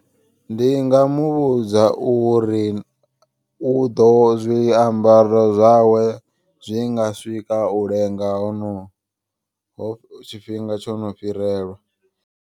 Ndi nga muvhudza uri u ḓo zwiambaro zwawe zwi nga swika u lenga hono ho tshifhinga tsho no fhirelwa.